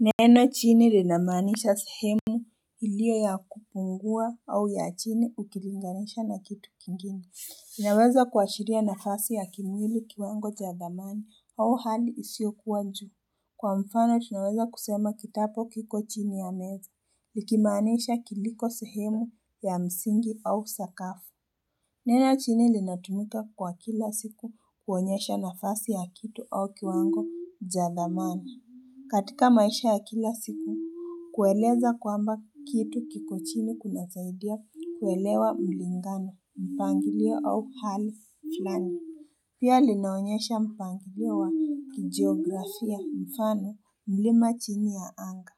Neno chini linamanisha sehemu iliyo ya kupungua au ya chini ukilinganisha na kitu kingine inaweza kuashiria nafasi ya kimwili kiwango jathamani au hali isio kuwa nzuri Kwa mfano tunaweza kusema kitabu kiko chini ya meza ikimanisha kiliko sehemu ya msingi au sakafu Neno chini linatumika kwa kila siku kuonyesha nafasi ya kitu au kiwango jathamani katika maisha ya kila siku, kueleza kwamba kitu kiko chini kuna zaidia kuelewa mlingano, mpangilio au hali flani. Pia linaonyesha mpangilio wa kijiografia mfano mlima chini ya anga.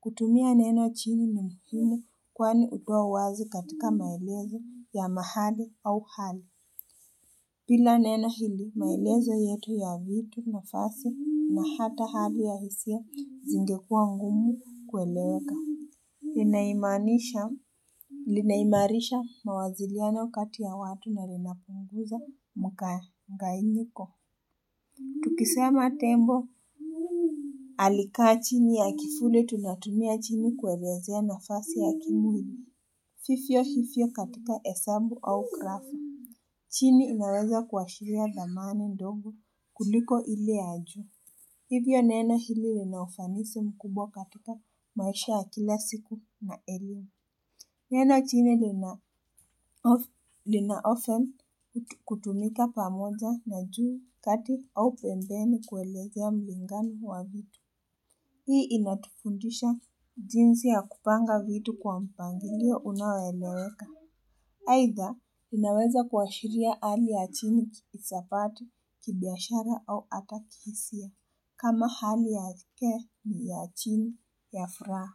Kutumia neno chini ni muhimu kwani utuawazi katika maelezo ya mahali au hali. Bila neno hili maelezo yetu ya vitu nafasi na hata hali ya hisia zingekua ngumu kueleweka Linaimanisha Linaimarisha mawasiliano kati ya watu na linapunguza mkanganyiko Tukisema tembo Alikaa chini ya kivuli tunatumia chini kuwelezea nafasi ya kimwli vivyo vivyo katika hesabu au krafu chini inaweza kuashiria zamani ndogo kuliko ile ya juu. Hivyo nena hili linaufanisi mkubwa katika maisha ya kila siku na elimu. Nena chini linaofan kutumika pamoja na juu kati au pembeni kuelekea ulingani wa vitu. Hii inatufundisha jinsi ya kupanga vitu kwa mpangilio unaoeleweka. Haitha, inaweza kuashiria hali ya chini kisapati, kibiashara au ata kihisia. Kama hali yake ni ya chini ya furaha.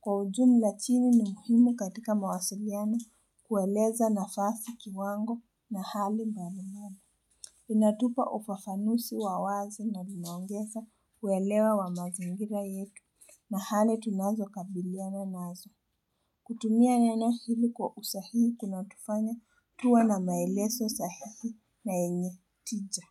Kwa ujumla chini ni muhimu katika mawasiliano kueleza nafasi kiwango na hali mbalimbali. Inatupa ufafanusi wawazi na inaongeza kuelewa wa mazingira yetu na hali tunazo kabiliana nazo. Kutumia neno hili kwa usahihi kuna tufanya tuwa na maelezo sahihi na yenye tija.